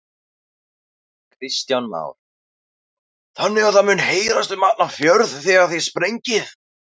Kristján Már: Þannig að það mun heyrast um allan fjörð þegar þið sprengið?